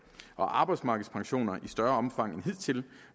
og arbejdsmarkedspensionerne i større omfang end hidtil